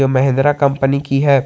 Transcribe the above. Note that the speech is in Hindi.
महेंद्रा कंपनी की है।